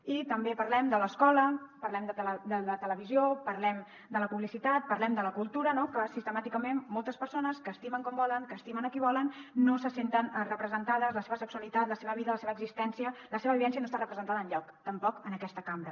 i també parlem de l’escola parlem de la televisió parlem de la publicitat parlem de la cultura no que sistemàticament moltes persones que estimen com volen que estimen qui volen no se senten representades que la seva sexualitat la seva vida la seva existència la seva vivència no estan representades enlloc tampoc en aquesta cambra